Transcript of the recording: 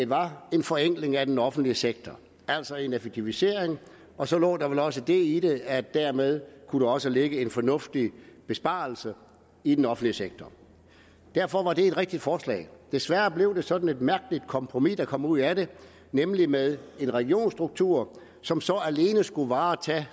var en forenkling af den offentlige sektor altså en effektivisering og så lå der vel også det i det at dermed kunne der også ligge en fornuftig besparelse i den offentlige sektor derfor var det et rigtigt forslag desværre blev det sådan et mærkeligt kompromis der kom ud af det nemlig med en regionsstruktur som så alene skulle varetage